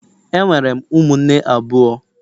Enwere m ụmụnne abụọ